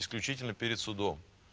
исключительно перед судом